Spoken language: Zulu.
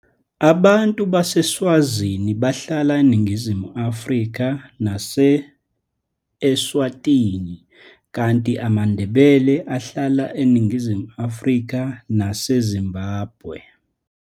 Abantu baseSwazini bahlala eNingizimu Afrika nase-Eswatini, kanti amaNdebele ahlala eNingizimu Afrika naseZimbabwe.